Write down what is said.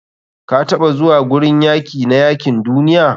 kataɓa zuwa gurin yaki na yakin duniya?